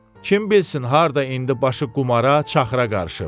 Kim bilsin harda indi başı qumara, çaxıra qarışıb?